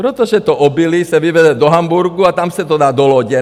Protože to obilí se vyveze do Hamburku a tam se to dá do lodě.